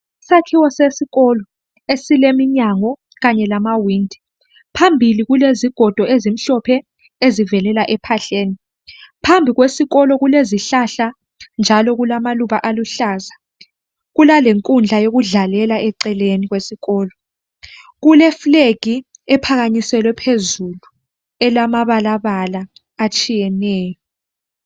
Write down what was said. Isakhiwo sesikolo esileminyango kanye lamawindi. Phambili kulezigodo ezimhlophe ezivelela ephahleni. Phambi kwesikolo kulezihlahla njalo kulamaluba aluhlaza. Kulalenkundla yokudlalela eceleni kwesikolo. Kule flag ephakanyiselwe phezulu elamabalabala atshiyeneyo.